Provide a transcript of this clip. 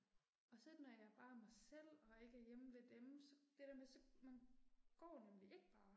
Og så når jeg bare er mig selv og ikke er hjemme ved dem så det der med så man går nemlig ikke bare